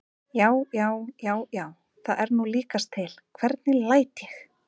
JÁ, JÁ, JÁ, JÁ, ÞAÐ ER NÚ LÍKAST TIL, HVERNIG LÆT ÉG!